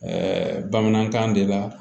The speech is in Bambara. bamanankan de la